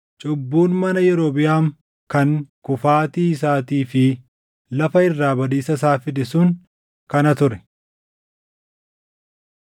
Cubbuun mana Yerobiʼaam kan kufaatii isaatii fi lafa irraa badiisa isaa fide sun kana ture.